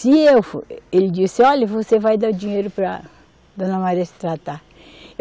Se eu fo, ele disse, olhe, você vai dar dinheiro para dona Maria se tratar.